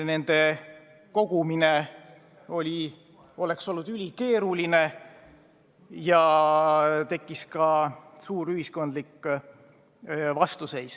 Nende maksude kogumine oleks olnud ülikeeruline ja tekkis ka suur ühiskondlik vastuseis.